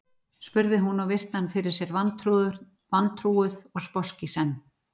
spurði hún og virti hann fyrir sér vantrúuð og sposk í senn.